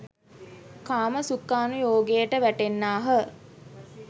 කාමසුඛානුයෝගයට වැටෙන්නාහ